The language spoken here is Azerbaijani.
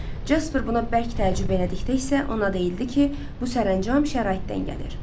Jaspar buna bərk təəccüb elədikdə isə ona deyildi ki, bu sərəncam şəraitdən gəlir.